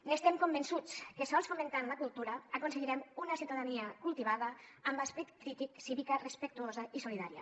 n’estem convençuts que sols fomentant la cultura aconseguirem una ciutadania cultivada amb esperit crític cívica respectuosa i solidària